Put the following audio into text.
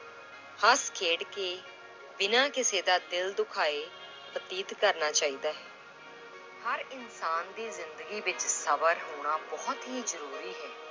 ਹੱਸਾ ਖੇਡ ਕੇ ਬਿਨਾਂ ਕਿਸੇ ਦਾ ਦਿਲ ਦੁਖਾਏ ਬਤੀਤ ਕਰਨਾ ਚਾਹੀਦਾ ਹੈ l ਹਰ ਇਨਸਾਨ ਦੀ ਜ਼ਿੰਦਗੀ ਵਿੱਚ ਸਬਰ ਹੋਣਾ ਬਹੁਤ ਹੀ ਜ਼ਰੂਰੀ ਹੈ।